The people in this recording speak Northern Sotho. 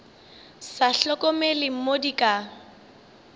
sa hlokomele mo di ka